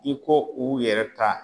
I ko u yɛrɛ ta